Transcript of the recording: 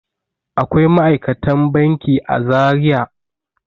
Akwai ma'aikatan banki a Zariya.